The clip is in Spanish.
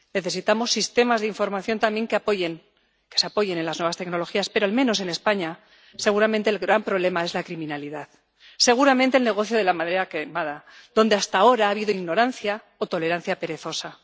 Necesitamos sistemas de información también que se apoyen en las nuevas tecnologías pero, al menos en España, seguramente el gran problema es la criminalidad, seguramente el negocio de la madera quemada, donde hasta ahora ha habido ignorancia o tolerancia perezosa.